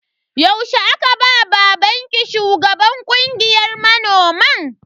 Yaushe aka ba babanki shugaban kungiyar manoman?